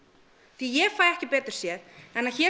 því ég fæ ekki betur séð en að hér